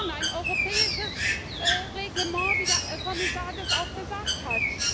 Ein europäisches Reglement wie der Kommissar das auch gesagt hat.